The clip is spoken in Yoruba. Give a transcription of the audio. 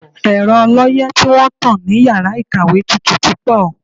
Ẹ̀rọ ọlọ́yẹ́ tí wọ́n tán ní yàrá ìkàwé tutù púpọ̀.